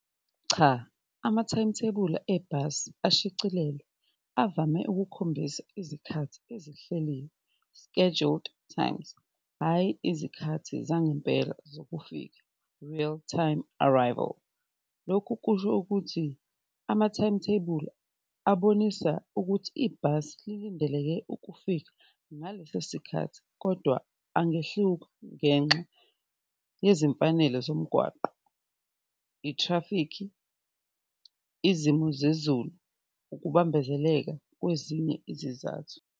Cha, amathayimithebula ebhasi ashicilelwe avame ukukhombisa izikhathi ezihleliwe scheduled times, hhayi izikhathi zangempela zokufika, real-time arrival. Lokhu kusho okuthi amathayimitheyibuli abonisa ukuthi ibhasi lilindeleke ukufika ngaleso sikhathi kodwa angehluka ngenxa yezimfanelo zomgwaqo, ithrafikhi, izimo zezulu, ukubambezeleka kwezinye izizathu.